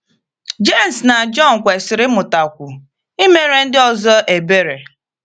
Jems na Jọn kwesịrị ịmụtakwu imere ndị ọzọ ebere.